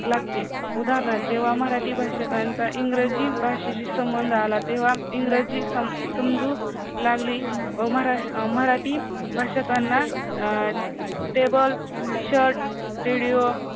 लागते, उदाहरणार्थ जेव्हा मराठी भाषकांचा इंग्रजी भाषेशी संबंध आला तेव्हा इंग्रजी सम समजू लागली, मरा मराठी भाषकांना अं table shirt video